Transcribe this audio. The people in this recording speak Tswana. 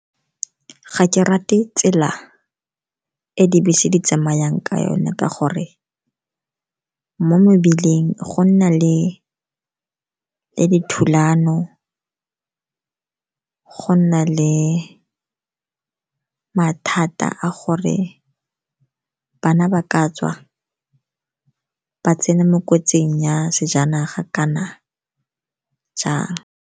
Ga ke rate tsela e dibese di tsamayang ka yone, ka gore mo mebileng go nna le dithulano. Go nna le mathata a gore bana ba ka tswa ba tsena mo kotsing ya sejanaga kana jang.